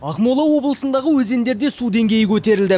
ақмола облысындағы өзендерде су деңгейі көтерілді